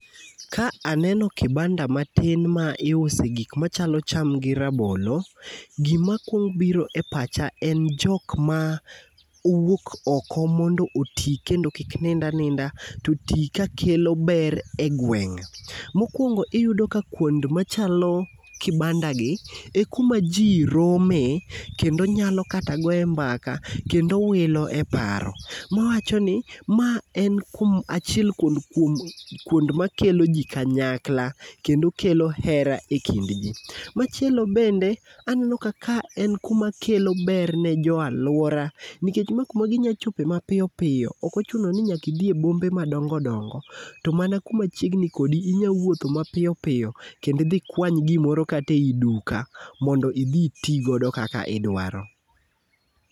Ka aneno kibanda matin ma iuse gik machalo cham gi rabolo, gima kuongo biro e pacha en jok ma owuok oko mondo oti kendo kik nind aninda to oti ka kelo ber e gweng'. Mokwongo iyudo ka kuonde machalo kibandagi e kuma ji rome, kendo nyalo kata goye mbaka, kendo wilo e paro. Mawachoni, ma en kuom achiel kuond kuom kuond makelo ji kanyakla, kendo kelo hera e kind ji. Machielo bende, aneno ka ka en kuma kelo ber ne jo alwora, nikech ma kuma ginyalo chope mapiyopiyo. Ok ochuno ni nyaka idhi e bombe madongo dongo. To mana kuma chiegni kodi, inyalo wuotho mapiyopiyo, kendo idhi ikwany kata gimoro kata e duka mondo idhi iti godo kaka idwaro.